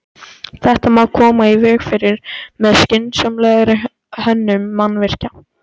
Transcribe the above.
Björn úr forinni og að dyrum þinghúss en eigi inn.